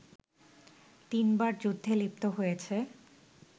তিনবার যুদ্ধে লিপ্ত হয়েছে